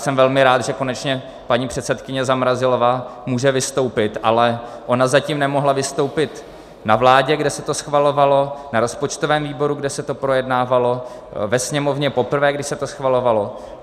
Jsem velmi rád, že konečně paní předsedkyně Zamrazilová může vystoupit, ale ona zatím nemohla vystoupit na vládě, kde se to schvalovalo, na rozpočtovém výboru, kde se to projednávalo, ve Sněmovně poprvé, kdy se to schvalovalo.